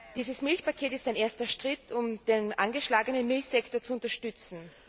Dieses Milchpaket ist ein erster Schritt, um den angeschlagenen Milchsektor zu unterstützen.